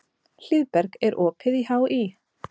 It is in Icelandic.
Hlíðberg, er opið í HÍ?